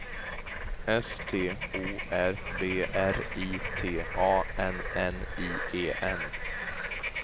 S T O R B R I T A N N I E N